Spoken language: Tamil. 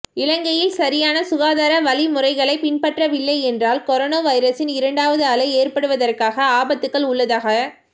இலங்கையில் சரியான சுகாதார வழிமுறைகளை பின்பற்றவில்லை என்றால் கொரோனா வைரஸின் இரண்டாவது அலை ஏற்படுவதற்காக ஆபத்துக்கள் உள்ளதாக